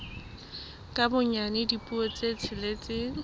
ka bonyane dipuo tse tsheletseng